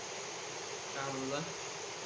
का मनला?